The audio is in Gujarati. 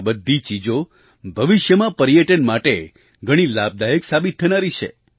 આ બધી ચીજો ભવિષ્યમાં પર્યટન માટે ઘણી લાભદાયક સાબિત થનારી છે